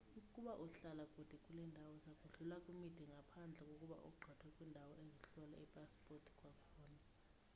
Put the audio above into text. ukuba uhlala kule ndawo uza kudlula kwimida ngaphandle kokuba ugqithe kwiindawo ezihlola iipasipothi kwakhona